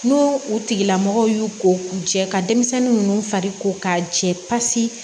N'u u tigilamɔgɔw y'u ko k'u jɛ ka denmisɛnnin ninnu fari ko k'a jɛ pasi